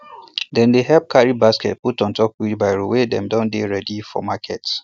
dem dey help carry baskets put on top wheelbarrow wen dem dey ready for market